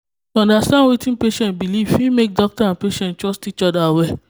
to understand wetin patient believe fit make doctor and make doctor and patient trust each other well.